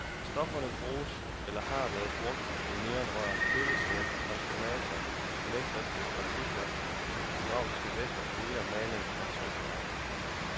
Stofferne bruges eller har været brugt i neonrør, køleskabe, transformatorer, elektriske partikler, hydraulisk væske, olier, maling og trykfarve.